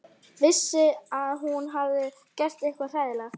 Vissi að hún hafði gert eitthvað hræðilegt.